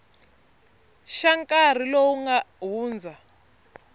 xa nkarhi lowu nga hundza